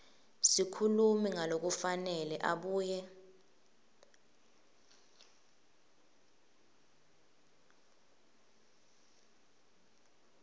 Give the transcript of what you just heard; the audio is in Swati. sikhulumi ngalokufanele abuye